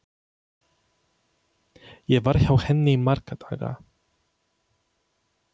Ég var hjá henni í marga daga.